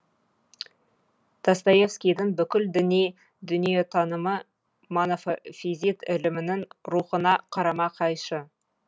достоевскийдің бүкіл діни дүниетанымы монофизит ілімінің рухына қарама қайшы